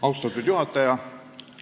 Austatud juhataja!